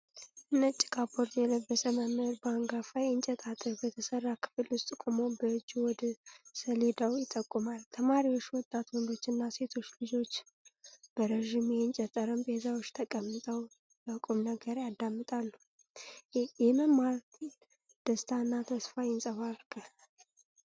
ነጭ ካፖርት የለበሰ መምህር በአንጋፋ የእንጨት አጥር በተሠራ ክፍል ውስጥ ቆሞ በእጁ ወደ ስለዳው ይጠቁማል። ተማሪዎች፣ ወጣት ወንዶችና ሴቶች ልጆች፣ በረዥም የእንጨት ጠረጴዛዎች ተቀምጠው በቁም ነገር ያዳምጣሉ። የመማር ደስታ እና ተስፋ ይንጸባርቃል።